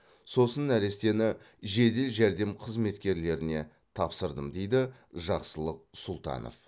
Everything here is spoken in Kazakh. сосын нәрестені жедел жәрдем қызметкерлеріне тапсырдым дейді жақсылық сұлтанов